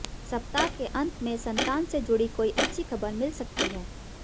सप्ताह के अंत में संतान से जुड़ी कोई अच्छी खबर मिल सकती है